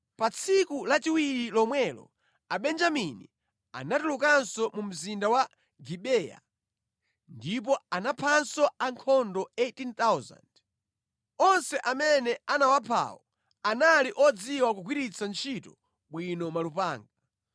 Pa tsiku lachiwiri lomwelo Abenjamini anatulukanso mu mzinda wa Gibeya ndipo anaphanso ankhondo 18,000. Onse amene anawaphawo anali odziwa kugwiritsa ntchito bwino malupanga.